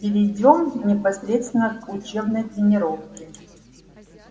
перейдём непосредственно к учебной тренировке